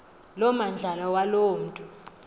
lomandlalo waloo mntu